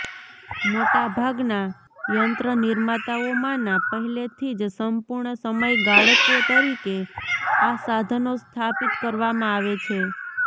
મોટા ભાગના યંત્રનિર્માતાઓમાંના પહેલેથી જ સંપૂર્ણ સમય ગાળકો તરીકે આ સાધનો સ્થાપિત કરવામાં આવે છે